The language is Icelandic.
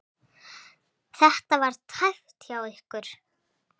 Var þetta tæpt hjá ykkur?